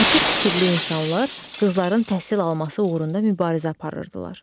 Açıq fikirli insanlar qızların təhsil alması uğrunda mübarizə aparırdılar.